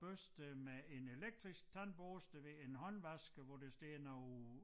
Børster med en elektrisk tandbørste ved en håndvask hvor der står noget